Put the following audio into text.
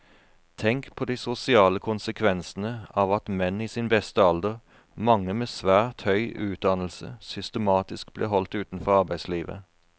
Tenk på de sosiale konsekvensene av at menn i sin beste alder, mange med svært høy utdannelse, systematisk blir holdt utenfor arbeidslivet.